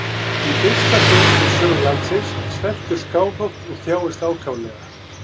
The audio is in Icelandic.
Í fyrsta sinn í sögu landsins sveltur Skálholt og þjáist ákaflega.